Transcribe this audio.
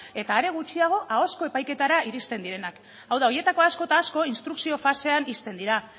eta are gutxiago ahozko epaiketara iristen direnak hau da horietako asko eta asko instrukzio fasean ixten dira